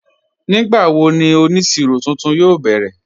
Nígbàwó ní onísíró tuntun yóò bẹrẹ̀?